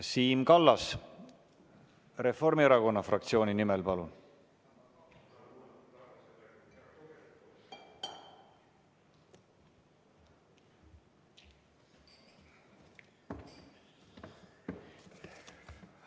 Siim Kallas Reformierakonna fraktsiooni nimel, palun!